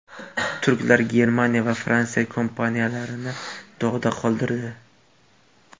Turklar Germaniya va Fransiya kompaniyalarini dog‘da qoldirdi.